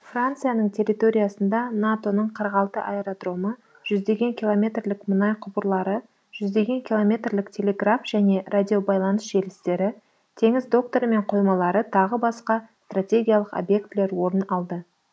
францияның территориясында нато ның қырық алты аэродромы жүздеген километрлік мұнай құбырлары жүздеген километрлік телеграф және радиобайланыс желістері теңіз докторы мен қоймалары тағы басқа стратегиялық объектілер орын алды